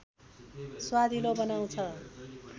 स्वादिलो बनाउँछ